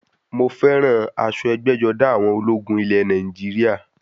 Mo fẹ́ràn aṣọ ẹgbẹ́-jọdá àwọn ológun ilẹ̀ Nàìjíríà.